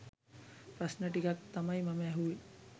ප්‍රශ්න ටිකක් තමයි මම ඇහුවේ.